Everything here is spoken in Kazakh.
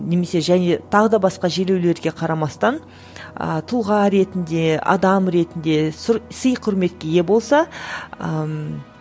немесе және тағы да басқа желеулерге қарамастан а тұлға ретінде адам ретінде сый құрметке ие болса ммм